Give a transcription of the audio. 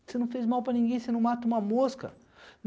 Você não fez mal para ninguém, você não mata uma mosca.